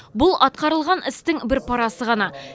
бұл атқарылған істің бір парасы ғана